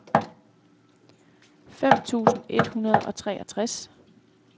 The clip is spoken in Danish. fem tusind et hundrede og treogtres